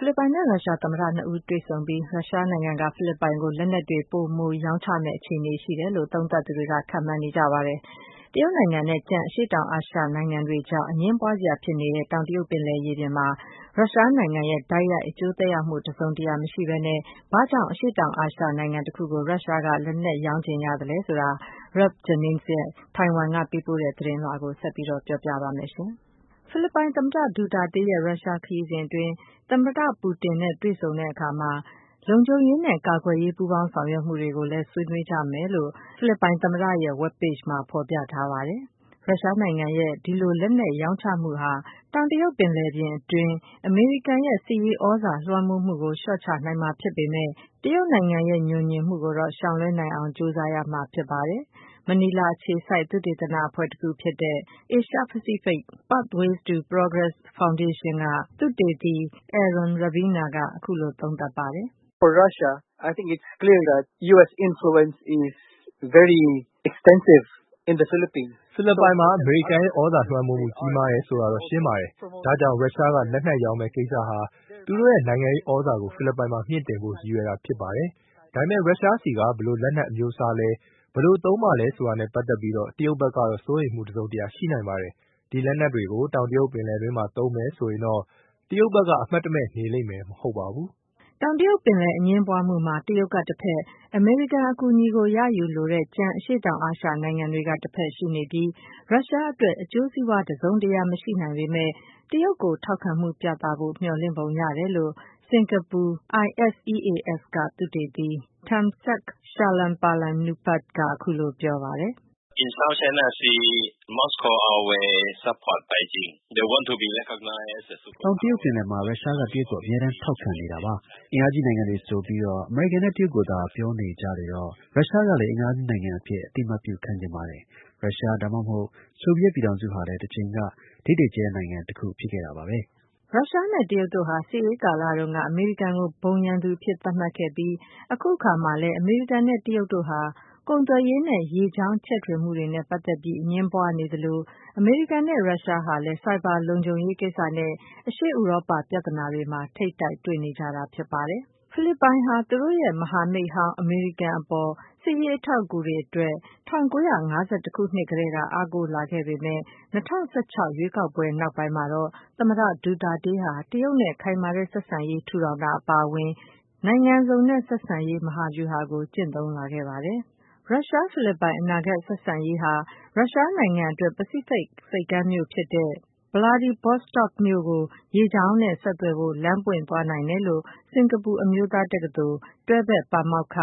ဖိလစ်ပိုင်နဲ့ရုရှားသမ္မတနှစ်ဦးတွေ့ဆုံပြီး ရုရှားနိုင်ငံက ဖိလစ်ပိုင်ကို လက်နက်တွေ ပိုမိုရောင်းချမယ့် အခြေအနေရှိနေတယ်လို့ သုံးသပ်သူတွေက ခန့်မှန်းနေကြပါတယ်။ တရုတ်နိုင်ငံနဲ့ ကျန်အရှေ့တောင် အာရှနိုင်ငံတွေကြား အငြင်းပွားစရာဖြစ်နေတဲ့ တောင်တရုတ်ပင်လယ်ရေပြင်မှာ ရုရှားနိုင်ငံရဲ့ တိုက်ရိုက် အကျိုးသက်ရောက်မှု တစုံတရာ မရှိဘဲနဲ့ ဘာကြာင့် အရှေ့တောင်အာရှနိုင်ငံတခုကို ရုရှားက လက်နက်ရောင်းချင်ရသလဲဆိုတာ Ralph Jennings ရဲ့တိုင်ဝမ်က ပေးပို့တဲ့သတင်းကို ပြောပြလိုပါတယ်။ ဖိလစ်ပိုင်သမ္မတဒူတာတေးရဲ့ ရုရှားခရီးစဉ်အတွင်း သမ္မတပူတင်နဲ့တွေ့ဆုံတဲ့အခါ လုံခြုံရေးနဲ့ ကာကွယ်ရေး ပူးပေါင်းဆောင်ရွက်မှုတွေကိုလည်း ဆွေးနွေးကြမှာဖြစ်တယ်လို့ ဖိလစ်ပိုင်သမ္မတရဲ့web page မှာ ဖော်ပြထားပါတယ်။ ရုရှားနိုင်ငံရဲ့ ဒီလို လက်နက်ရောင်းချမှုဟာ တောင်တရုတ်ပင်လယ်တွင်း အမေရိကန်ရဲ့စစ်ရေးသြဇာလွှမ်းမိုးမှုကို လျှော့ချနိုင်မှာ ဖြစ်ပေမယ့် တရုတ်နိုင်ငံရဲ့ ငြိုငြင်မှုကိုတော့ ရှောင်လွှဲနိုင်အောင် ကြိုးစားရမှာဖြစ်ပါတယ်။ မနီလာအခြေစိုက် သုတေသနအဖွဲ့တခုဖြစ်တဲ့ Asia Pacific Pathways to Progress Foundation က သုတေသီ Aaron Rabena က အခုလို သုံးသပ်ပါတယ်။ “ဖိလစ်ပိုင်မှာ အမေရိကန်ရဲ့သြဇာလွှမ်းမိုးမှု ကြီးမားတယ်ဆိုတာတော့ ရှင်းပါတယ်။ ဒါကြောင့် ရုရှားကလက်နက်ရောင်းမယ့် ကိစ္စဟာ သူတို့ရဲ့နိုင်ငံရေးသြဇာကို ဖိလစ်ပိုင်မှာ မြှင့်တင်ဖို့ ရည်ရွယ်တာဖြစ်ပါတယ်။ ဒါပေမယ့် ရုရှားဆီက ဘယ်လိုလက်နက် အမျိုးအစားလဲ၊ ဘယ်လိုသုံးမှာလဲဆိုတာနဲ့ပတ်သက်ပြီးတော့ တရုတ်ဘက်ကတော့ စိုးရိမ်မှုတစုံတရာရှိနိုင်ပါတယ်။ ဒီလက်နက်တွေကို တောင်တရုတ်ပင်လယ်အတွင်းမှာသုံးမယ်ဆိုရင်တော့ တရုတ်ဘက်က အမှတ်တမဲ့ နေလိမ့်မှာ မဟုတ်ပါဘူး။” တောင်တရုတ်ပင်လယ်အငြင်းပွားမှုမှာ တရုတ်ကတဘက်၊ အမေရိကန်အကူအညီကိုရယူလိုတဲ့ ကျန်အရှေ့တောင်အာရှနိုင်ငံတွေက တဘက်ရှိနေပြီး ရုရှားအတွက် အကျိုးစီးပွားတစုံတရာ မရှိနိုင်ပေမယ့် တရုတ်ကိုထောက်ခံမှု ပြသဖို့ မျှော်လင့်ပုံရတယ်လို့ စင်္ကာပူ ISEAS က သုတေသီ Termsak Chalermpalanupap က အခုလို ပြောပါတယ်။ “တောင်တရုတ်ပင်လယ်မှာ ရုရှားကတရုတ်ကို အမြဲတမ်းထောက်ခံနေတာပါ။ အင်အားကြီး နိုင်ငံတွေ ဆိုပြီးတော့ အမေရိကန်နဲ့တရုတ်ကိုသာ ပြောနေကြလေတော့ ရုရှားကလည်း အင်အားကြီးနိုင်ငံအဖြစ် အသိအမှတ်ပြု ခံချင်ပါတယ်။ ရုရှား ဒါမှမဟုတ် ဆိုဗီယက်ပြည်ထောင်စုဟာလည်း တချိန်က ဒိတ်ဒိတ်ကျဲ နိုင်ငံဖြစ်ခဲ့တာပါပဲ။” ရုရှားနဲ့တရုတ်တို့ဟာ စစ်အေးကာလတုန်းက အမေရိကန်ကို ဘုံရန်သူအဖြစ်သတ်မှတ်ခဲ့ပြီး အခုအခါမှာ လည်း အမေရိကန်နဲ့တရုတ်တို့ဟာ ကုန်သွယ်ရေးနဲ့ ရေကြောင်းချဲ့ထွင်မှုတွေနဲ့ ပတ်သက်ပြီး အငြင်းပွားနေသလို အမေရိကန်နဲ့ရုရှားဟာလည်း ဆိုင်ဘာလုံခြုံရေးကိစ္စနဲ့ အရှေ့ ဥရောပပြဿနာတွေမှာ ထိပ်တိုက်တွေ့နေကြတာဖြစ်ပါတယ်။ ဖိလစ်ပိုင်ဟာ သူတို့ရဲ့ မဟာမိတ်ဟောင်း အမေရိကန်အပေါ် စစ်ရေးအထောက်အကူတွေအတွက် ၁၉၅၁ ခုနှစ်ကတည်းက အားကိုးလာခဲ့ပေမယ့် ၂၀၁၆ ရွေးကောက်ပွဲနောက်ပိုင်းမှာတော့ သမ္မတဒူတာတေးဟာ တရုတ်နဲ့ခိုင်မာတဲ့ဆက်ဆံရေး ထူထောင်တာအပါအဝင် နိုင်ငံစုံနဲ့ဆက်ဆံရေးမဟာဗျူဟာကို ကျင့်သုံးလာခဲ့တာဖြစ်ပါတယ်။ ရုရှား-ဖိလစ်ပိုင်အနာဂတ်ဆက်ဆံရေးဟာ ရုရှားနိုင်ငံအတွက် ပစိဖိတ် ဆိပ်ကမ်းမြို့ဖြစ်တဲ့ Vladivostok မြို့ကို ရေကြောင်းနဲ့ ဆက်သွယ်ဖို့ လမ်းပွင့်သွားနိုင်တယ်လို့ စင်္ကာပူ အမျိုးသား တက္ကသိုလ် တွဲဘက်ပါမောက္ခ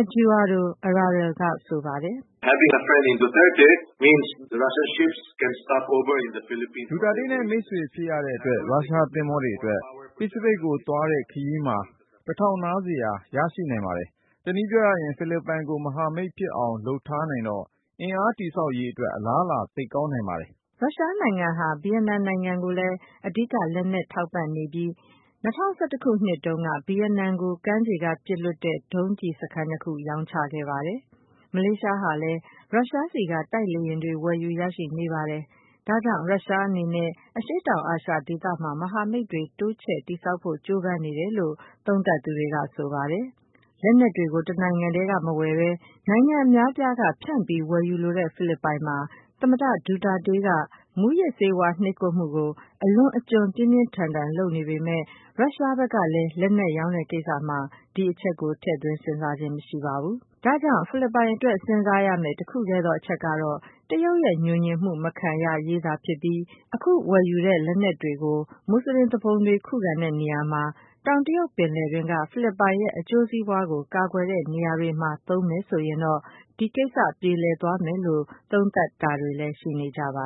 Eduardo Araral က ဆိုပါတယ်။ “ဒူတာတေးနဲ့ မိတ်ဆွေဖြစ်ရတဲ့အတွက် ရုရှားသင်္ဘောတွေအတွက် ပစိဖိတ်ကိုသွားတဲ့ ခရီးမှာ တထောက်နားစရာ ရရှိနိုင်ပါတယ်။ တနည်းပြောရရင် ဖိလစ်ပိုင်ကို မဟာမိတ်အဖြစ် သွတ်သွင်းနိုင်တဲ့ အတွက် အင်အားတည်ဆောက်ရေးအတွက် အလားအလာ သိပ်ကောင်းနိုင်ပါတယ်။” ရုရှားနိုင်ငံဟာ ဗီယက်နမ်နိုင်ငံကိုလည်း အဓိကလက်နက်ထောက်ပံ့နေတဲ့နိုင်ငံဖြစ်ပြီး ၂၀၁၁ တုန်းကစပြီး ဗီယက်နမ်ကို ကမ်းခြေက ပစ်လွှတ်နိုင်တဲ့ ဒုံးကျည်စခန်းနှစ်ခု ရောင်းချခဲ့တာဖြစ်ပါတယ်။ မလေးရှားနိုင်ငံဟာလည်း ရုရှားဆီက တိုက်လေယာဉ်တွေ ဝယ်ယူရရှိနေပါတယ်။ ဒါကြောင့် ရုရှားနိုင်ငံ အနေနဲ့ အရှေ့တောင်အာရှဒေသမှာ မဟာမိတ်တွေတိုးချဲ့တည်ဆောက်ဖို့ ကြိုးပမ်းနေတယ်လို့ သုံးသပ်သူတွေက ဆိုကြပါတယ်။ လက်နက်တွေကို တနိုင်ငံတည်းက မဝယ်ဘဲ နိုင်ငံအများအပြားက ဖြန့်ပြီးဝယ်ယူလိုတဲ့ ဖိလစ်ပိုင်မှာ သမ္မတဒူတာတေးက မူးယစ်ဆေးဝါးနှိပ်ကွပ်မှုကို အလွန်အကျွံ ပြင်းပြင်းထန်ထန်လုပ်နေပေမယ့် ရုရှားဘက်ကလည်း လက်နက်ရောင်းတဲ့ကိစ္စမှာ ဒီအချက်ကို ထည့်သွင်းစဉ်းစားခြင်းမရှိပါဘူး။ ဒါကြောင့် ဖိလစ်ပိုင်အတွက် စဉ်းစားရမယ့် တခုတည်းသောအချက်ကတော့ တရုတ်ရဲ့ ငြိုငြင်မှု မခံရရေးသာ ဖြစ်ပြီး အခုဝယ်ယူတဲ့ လက်နက်တွေကို မွတ်ဆလင်သူပုန်တွေခုခံတဲ့နေရာမှာ၊ တောင်တရုတ်ပင်လယ်တွင်းက ဖိလစ်ပိုင်ရဲ့အကျိုးစီးပွားကို ကာကွယ်တဲ့ နေရာတွေမှာသာ သုံးမယ်ဆိုရင်တော့ ဒီကိစ္စက ပြေလည်သွားမယ်လို့ သုံးသပ်တာတွေလည်း ရှိနေကြပါ